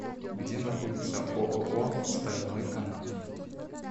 где находится ооо стальной канат